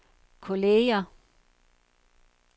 kolleger